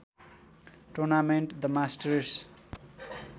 tournament the masters